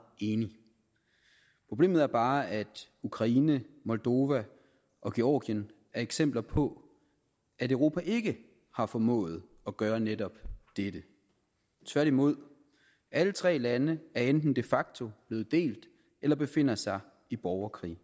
enig problemet er bare at ukraine moldova og georgien er eksempler på at europa ikke har formået at gøre netop dette tværtimod alle tre lande er enten de facto blevet delt eller befinder sig i borgerkrig